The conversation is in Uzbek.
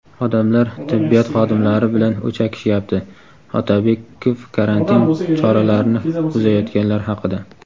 "Odamlar tibbiyot xodimlari bilan o‘chakishyapti" - Otabekov karantin choralarini buzayotganlar haqida.